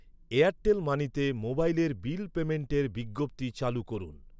Airtel মানিতে মোবাইলের bill পেইমেন্টের বিজ্ঞপ্তি চালু করুন।